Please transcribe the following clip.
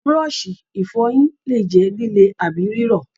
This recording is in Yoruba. Búrọ́ọ̀ṣì ìfọyín lè jẹ́ líle àbí rírọ̀.